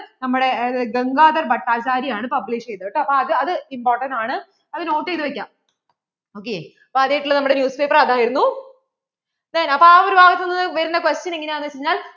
നമ്മടെ GangadharBhattacharya ആണ് Publish ചെയ്‌തത്‌ കേട്ടോ അപ്പോൾ അത് important ആണ് അതു note ചെയ്‌തു വെക്കാം ok അപ്പോൾ ആദ്യം ആയിട്ട് ഉള്ള നമ്മുടെ News paper അതായിരുന്നു then അപ്പോൾ ആ ഒരു ഭാഗത്തു വരുന്ന questions എങ്ങനാണ് വെച്ചുകഴിഞ്ഞാൽ